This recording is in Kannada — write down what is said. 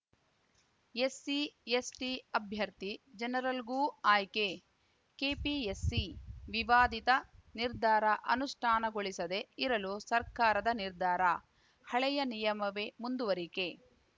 ಎಸ್ಸಿ ಎಸ್ಟಿಅಭ್ಯರ್ಥಿ ಜನರಲ್‌ಗೂ ಆಯ್ಕೆ ಕೆಪಿಎಸ್‌ಸಿ ವಿವಾದಿತ ನಿರ್ಧಾರ ಅನುಷ್ಠಾನಗೊಳಿಸದೆ ಇರಲು ಸರ್ಕಾರದ ನಿರ್ಧಾರ ಹಳೆಯ ನಿಯಮವೇ ಮುಂದುವರಿಕೆ